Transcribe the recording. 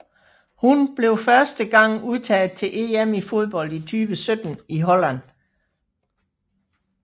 Hun blev første gang udtaget til EM i fodbold 2017 i Holland